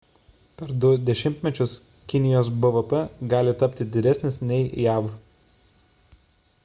per 2 dešimtmečius kinijos bvp gali tapti didesnis nei jav